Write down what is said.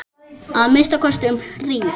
Að minnsta kosti um hríð.